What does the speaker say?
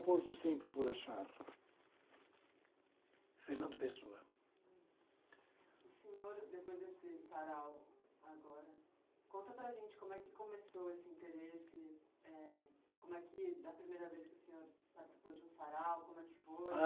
pôr do sempre por achar. Fernando Pessoa. O senhor, depois desse sarau, agora, conta para a gente como é que começou esse interesse, eh... como é que, da primeira vez que o senhor participou de um sarau, como é que foi?